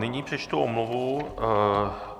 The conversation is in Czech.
Nyní přečtu omluvu.